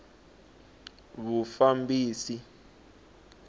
vufambisi